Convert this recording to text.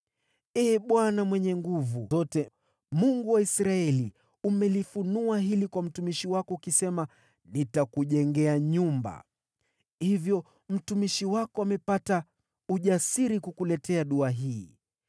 “Ee Bwana Mwenye Nguvu Zote, Mungu wa Israeli, umelifunua hili kwa mtumishi wako, ukisema, ‘Nitakujengea nyumba.’ Hivyo mtumishi wako amepata ujasiri kukuletea dua hii.